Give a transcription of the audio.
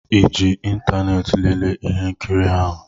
ịji ịntanetị lelee ihe nkiri ahụ?